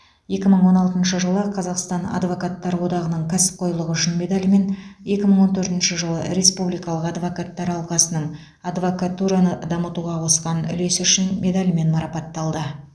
екі мың он алтыншы жылы қазақстан адвокаттар одағының кәсіпқойлығы үшін медалімен екі мың он төртінші жылы республикалық адвокаттар алқасының адвокатураны дамытуға қосқан үлесі үшін медалімен марапатталды